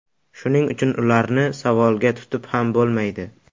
Shuning uchun ularni savolga tutib ham bo‘lmaydi.